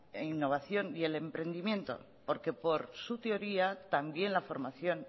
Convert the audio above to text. innovación y el emprendimiento porque por su teoría también la formación